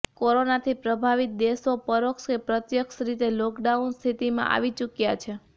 કોરોનાથી પ્રભાવિત દેશો પરોક્ષ કે પ્રત્યક્ષ રીતે લોકડાઉન સ્થિતિમાં આવી ચૂક્યા છે